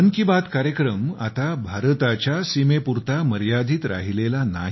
मन की बात कार्यक्रम आता भारताच्या सीमेपुरता मर्यादित राहिलेला नाही